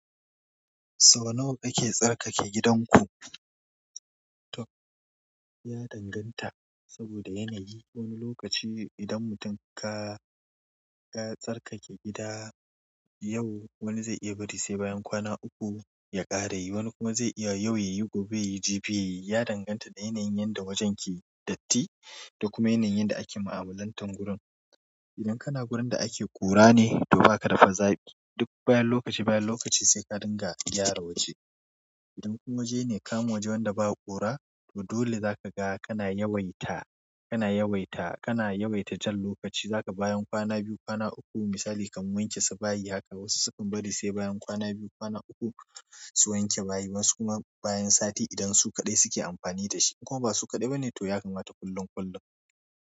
Sau nawa kake tsarkake gidanku? Ya danganta, saboda yanayi wani lokaci idan mutum ka tsarkake gida yau wani zai iya bari sai bayan kwana uku ya ƙarayi, wani kuma zai iya yau yayi gobe yayi jibi yayi, ya danganta da yanayin yadda wajen ke datti da kuma yanayin da ake mu'amalan tan gurun. Idan kana wurin da ake ƙura ne to ba ka dafa zafi duk bayan lokaci bayan lokaci sai ka dinga gyara waje. Idan kuma waje ne kano waje wanda ba a ƙura, to dole za ka ga kana yawaita, kana yawaita, kana yawaita jan lokaci za ka bayan kwana biyu kwana uku misali ka wanke su bayi, haka wasu sukan bari sai bayan kwana biyu kwana uku su wanke bayi wasu kuma bayan sati idan su kaɗai suke amfani da shi. In kuma ba su kaɗai ba ne to ya kamata kullum kullum.